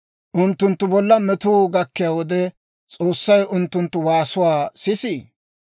Unttunttu bolla metuu gakkiyaa wode, S'oossay unttunttu waasuwaa sisii?